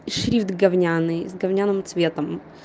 шрифт говняный с говняным цветом